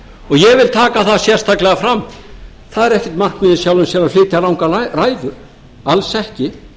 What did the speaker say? ég vil taka það sérstaklega fram það er ekkert markmið í sjálfu sér að flytja langar ræður alls ekki